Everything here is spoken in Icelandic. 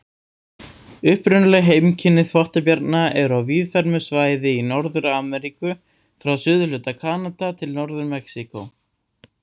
Upprunaleg heimkynni þvottabjarna eru á víðfeðmu svæði í Norður-Ameríku, frá suðurhluta Kanada til Norður-Mexíkó.